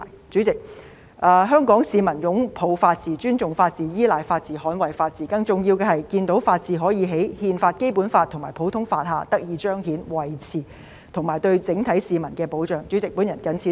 主席，香港市民擁抱法治、尊重法治、依賴法治、捍衞法治，更重要的是看到法治可以在憲法、《基本法》和普通法下得以彰顯和維持，以及對整體市民提供保障。